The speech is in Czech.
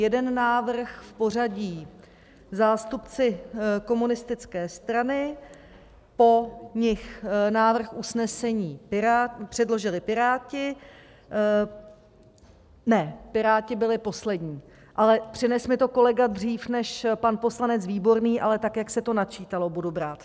Jeden návrh v pořadí zástupci Komunistické strany, po nich návrh usnesení předložili Piráti - ne, Piráti byli poslední, ale přinesl mi to kolega dřív než pan poslanec Výborný, ale tak, jak se to načítalo, budu brát.